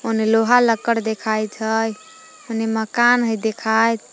ओने लोहा लहखड़ देखाइत हइ ओने मकान हइ देखाइत।